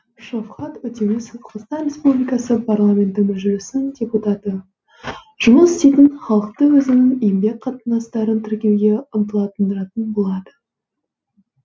шавхат өтмемісов қазақстан республикасы парламенті мәжілісінің депутаты жұмыс істейтін халықты өзінің еңбек қатынастарын тіркеуге ынтыландыратын болады